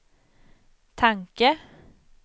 tanke